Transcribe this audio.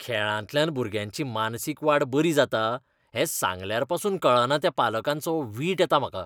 खेळांतल्यान भुरग्यांची मानसीक वाड बरी जाता हें सांगल्यारपासून कळना त्या पालकांचो वीट येता म्हाका.